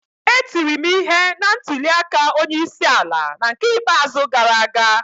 E tiri m ihe na ntuli aka onye isi ala n'ke ikpeazụ gara aga